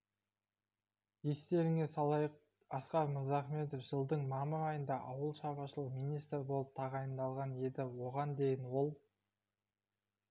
естеріңге салайық асқар мырзахметов жылдың мамыр айында ауыл шаруашылық министрі болып тағайындалған еді оған дейін ол